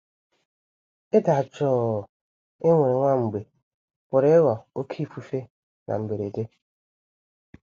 Ịda jụụ e nwere nwa mgbe pụrụ ịghọ oké ifufe na mberede.